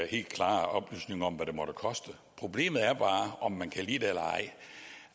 helt klare oplysning om hvad det måtte koste problemet er bare om man kan lide det eller ej